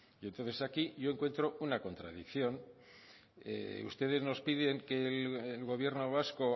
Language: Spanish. entonces aquí yo encuentro una contradicción ustedes nos piden que el gobierno vasco